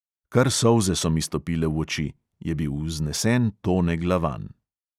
Kar solze so mi stopile v oči, je bil vznesen tone glavan.